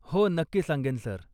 हो, नक्की सांगेन, सर.